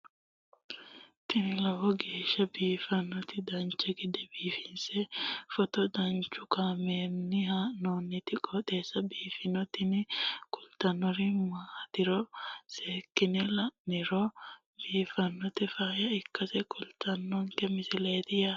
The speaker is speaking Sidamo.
tini lowo geeshsha biiffannoti dancha gede biiffanno footo danchu kaameerinni haa'noonniti qooxeessa biiffannoti tini kultannori maatiro seekkine la'niro biiffannota faayya ikkase kultannoke misileeti yaate